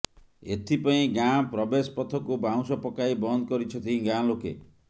ଏଥିପାଇଁ ଗାଁ ପ୍ରବେଶ ପଥକୁ ବାଉଁଶ ପକାଇ ବନ୍ଦ କରିଛନ୍ତି ଗାଁ ଲୋକେ